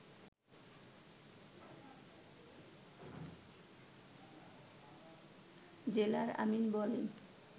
জেলার আমীন বলেন